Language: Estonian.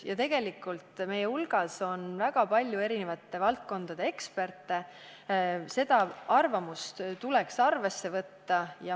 Ja tegelikult on meie hulgas väga palju eri valdkondade eksperte, nende arvamust tuleks arvesse võtta.